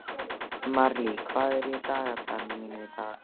Marley, hvað er í dagatalinu mínu í dag?